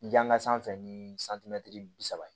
Janka sanfɛ ni santimɛtiri bi saba